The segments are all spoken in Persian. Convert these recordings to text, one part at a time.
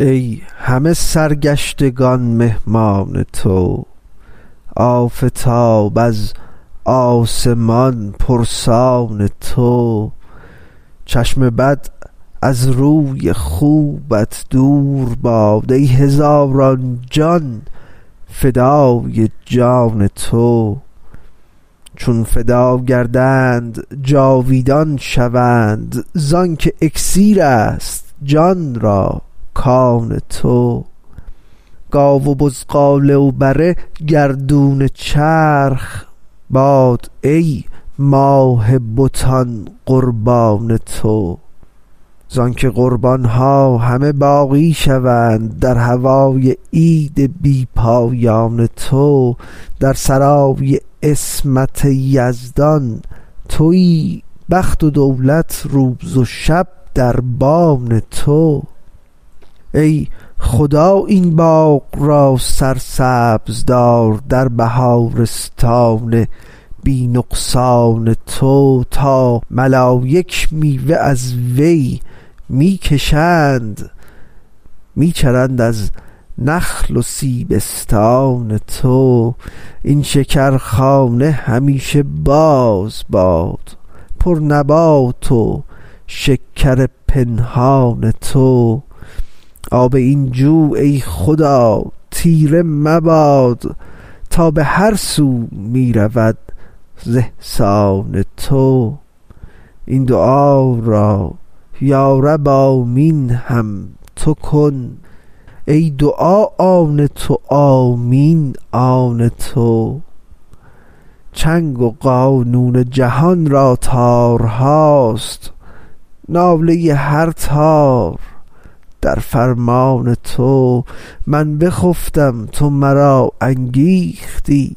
ای همه سرگشتگان مهمان تو آفتاب از آسمان پرسان تو چشم بد از روی خوبت دور باد ای هزاران جان فدای جان تو چون فدا گردند جاویدان شوند ز آنک اکسیر است جان را کان تو گاو و بزغاله و بره گردون چرخ باد ای ماه بتان قربان تو ز آنک قربان ها همه باقی شوند در هوای عید بی پایان تو در سرای عصمت یزدان توی بخت و دولت روز و شب دربان تو ای خدا این باغ را سرسبز دار در بهارستان بی نقصان تو تا ملایک میوه از وی می کشند می چرند از نخل و سیبستان تو این شکرخانه همیشه باز باد پرنبات و شکر پنهان تو آب این جو ای خدا تیره مباد تا به هر سو می رود ز احسان تو این دعا را یا رب آمین هم تو کن ای دعا آن تو آمین آن تو چنگ و قانون جهان را تارهاست ناله هر تار در فرمان تو من بخفتم تو مرا انگیختی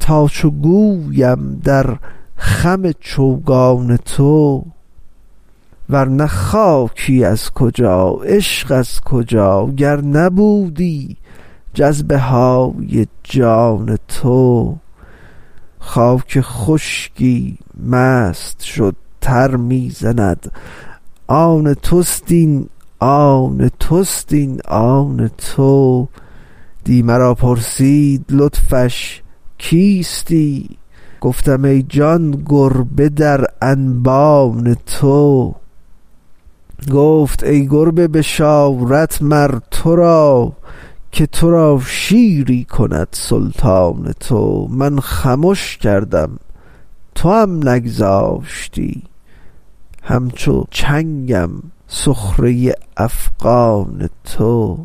تا چو گویم در خم چوگان تو ور نه خاکی از کجا عشق از کجا گر نبودی جذبه های جان تو خاک خشکی مست شد تر می زند آن توست این آن توست این آن تو دی مرا پرسید لطفش کیستی گفتم ای جان گربه در انبان تو گفت ای گربه بشارت مر تو را که تو را شیری کند سلطان تو من خمش کردم توام نگذاشتی همچو چنگم سخره افغان تو